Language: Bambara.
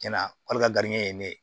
Cɛn na wari ka grin ne ye